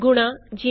aਬੀ